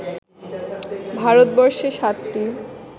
ভারতবর্ষে সাতটি